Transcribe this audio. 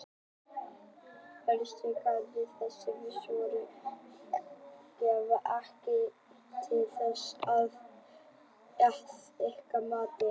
Höskuldur Kári: Þessi svör gefa ekki tilefni til þess þá að ykkar mati?